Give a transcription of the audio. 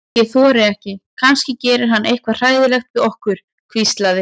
Ég þori ekki, kannski gerir hann eitthvað hræðilegt við okkur. hvíslaði